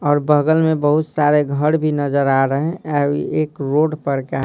और बगल में बहुत सारे घर भी नजर आ रहे हैं एक रोड पर क--